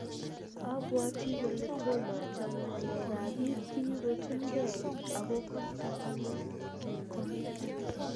Abwati kole tomo achome ngalek ab biik chikikotunke, ako kosto ano, kimwa